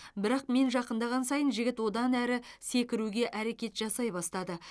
бірақ мен жақындаған сайын жігіт одан әрі секіруге әрекет жасай бастады